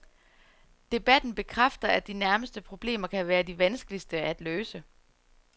Debatten bekræfter, at de nærmeste problemer kan være de vanskeligste at løse.